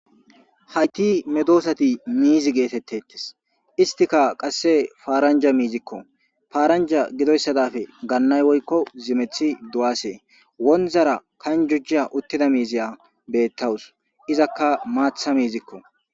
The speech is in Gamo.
Hayti medosati miizi geetettettes istika qasse paaranja miizikko faaranja gidoyssadafe gannay woykko zimethi du7asee wonzara kanjujja uttida miiziya beettawus izakka maatha miizikko.